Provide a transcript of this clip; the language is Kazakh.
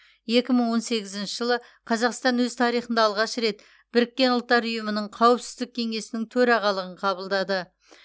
екі мың он сегізінші жылы қазақстан өз тарихында алғаш рет біріккен ұлттар ұйымының қауіпсіздік кеңесінің төрағалығын қабылдады